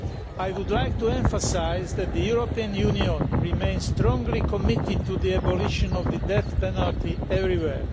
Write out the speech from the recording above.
I would like to emphasise that the European Union remains strongly committed to the abolition of the death penalty everywhere.